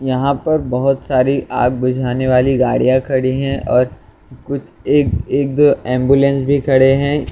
यहाँ पर बहुत सारी आग बुझाने वाली गड़ियां खड़ी है और कुछ एक एक दो एम्बुलेंस भी खड़े है ये आ--